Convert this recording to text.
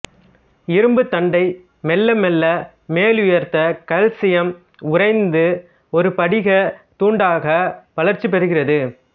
இரும்புத் தண்டை மெல்ல மெல்ல மேலுயர்த்த கல்சியம் உறைந்து ஒரு படிகத் துண்டாக வளர்ச்சி பெறுகிறது